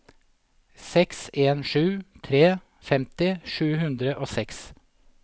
seks en sju tre femti sju hundre og seks